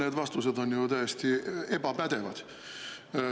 Need vastused on täiesti ebapädevad.